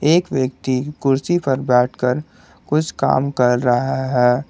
एक व्यक्ति कुर्सी पर बैठकर कुछ काम कर रहा है।